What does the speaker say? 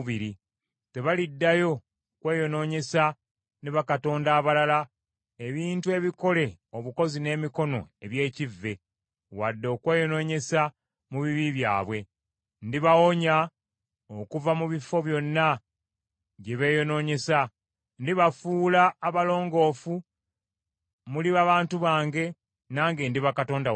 Tebaliddayo kweyonoonyesa ne bakatonda abalala, ebintu ebikole obukozi n’emikono eby’ekivve, wadde okweyonoonyesa mu bibi byabwe. Ndibawonya okuva mu bifo byonna gye beeyonoonyesa, ndibafuula abalongoofu, muliba bantu bange, nange ndiba Katonda wammwe.